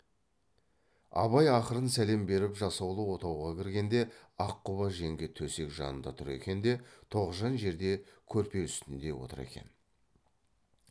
абай ақырын сәлем беріп жасаулы отауға кіргенде аққұба жеңге төсек жанында тұр екен де тоғжан жерде көрпе үстінде отыр екен